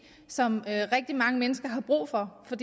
som rigtig mange mennesker har brug for for